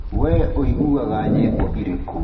we ũiguaga nyĩmbo irĩkũ?